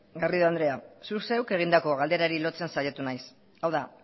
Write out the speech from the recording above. garrido andrea zuk zeuk egindako galderari lotzen saiatu naiz hau da